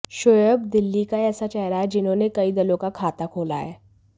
शोएब दिल्ली का ऐसा चेहरा हैं जिन्होंने कई दलों का खाता खोला है